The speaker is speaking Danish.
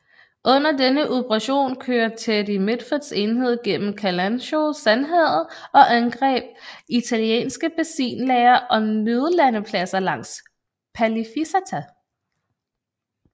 Under denne operation kør Teddy Mitfords enhed gennem Kalansho Sandhavet og angreb italienske benzinlagre og nødlandepladser langs Palificata